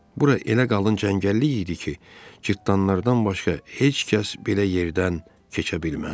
Bura elə qalın cəngəllik idi ki, cırtdanlardan başqa heç kəs belə yerdən keçə bilməzdi.